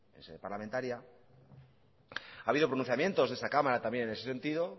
en sede parlamentaria ha habido pronunciamientos de esta cámara también en ese sentido